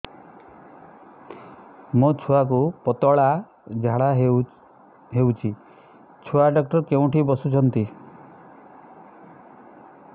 ମୋ ଛୁଆକୁ ପତଳା ଝାଡ଼ା ହେଉଛି ଛୁଆ ଡକ୍ଟର କେଉଁଠି ବସୁଛନ୍ତି